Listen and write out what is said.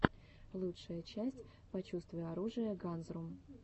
лучшая часть почувствуй оружие ганзрум